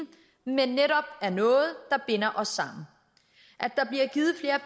men netop er noget der binder os sammen